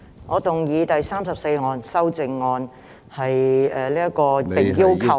我動議編號34的修正案。